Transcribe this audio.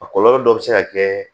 A kɔlɔlɔ dɔ bɛ se ka kɛ